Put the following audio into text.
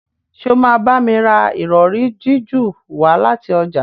Ṣe o ma bámi rà Ìrọ̀rí jiju wá láti ọjà?